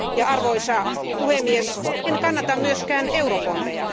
Arvoisa puhemies, en kannata myöskään eurobondeja.